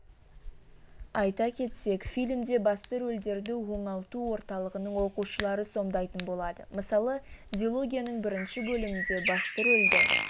айта кетсек фильмде басты рөлдерді оңалту орталығының оқушылары сомдайтын болады мысалы дилогияның бірінші бөлімінде басты рөлді